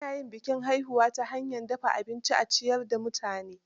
Ana yin bikin haihuwar ta hanyar dafa abinci a ciyar da mutane.